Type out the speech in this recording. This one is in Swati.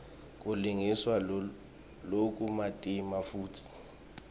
kulungiswa lokumatima futsi